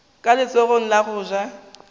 ka letsogong la go ja